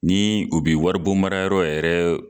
Ni u bɛ waribonmarayɔrɔ yɛrɛ